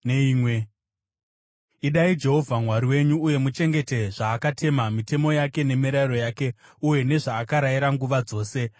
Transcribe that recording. Idai Jehovha Mwari wenyu uye muchengete zvaakatema, mitemo yake, nemirayiro yake uye nezvaakarayira, nguva dzose.